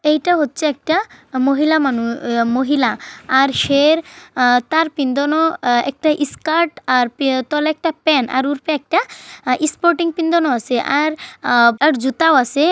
এইটা হচ্ছে একটা মহিলা মানুষ মহিলা। আর সে তার প্যাঁদানো একটা স্কার্ট আর তল একটা প্যান । আর উপর একটা স্পোর্টিং প্যাঁদানো আছে আর জুতা আছে।